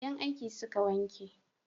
Yan aiki suka wanke